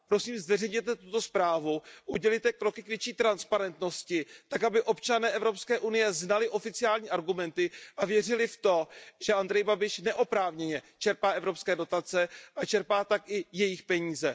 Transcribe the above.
Prosím, zveřejněte tuto zprávu, udělejte kroky k větší transparentnosti tak, aby občané Evropské unie znali oficiální argumenty a věřili v to, že Andrej Babiš neoprávněně čerpá evropské dotace a čerpá tak i jejich peníze.